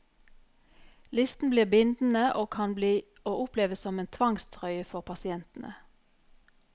Listen blir bindende og kan bli å oppleve som en tvangstrøye for pasientene.